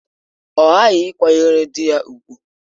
Ọ ghaghị ịkwanyere di ya ùgwù!